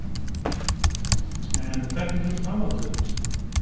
En hvernig lítur framhaldið út?